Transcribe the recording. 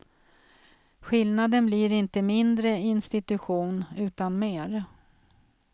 Skillnaden blir inte mindre institution, utan mer.